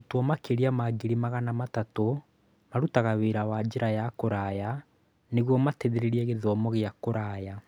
Arutwo makĩria ma ngiri magana matatũ marutaga wĩra na njĩra ya kũraya nĩguo mateithĩrĩrie gĩthomo gĩa kũraya.